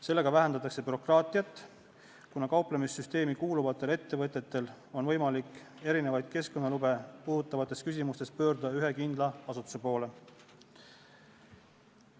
Sellega vähendatakse bürokraatiat, kuna kauplemissüsteemi kuuluvatel ettevõtetel on võimalik erinevaid keskkonnalube puudutavates küsimustes pöörduda ühe kindla asutuse poole.